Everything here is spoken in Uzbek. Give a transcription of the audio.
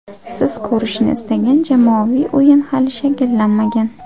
Siz ko‘rishni istagan jamoaviy o‘yin hali shakllanmagan.